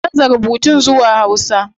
Ka canza rubutun zuwa hausa